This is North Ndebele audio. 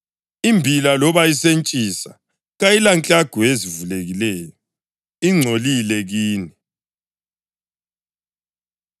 Imbila loba isentshisa kayilanklagu ezivulekileyo; ingcolile kini.